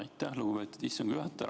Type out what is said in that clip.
Aitäh, lugupeetud istungi juhataja!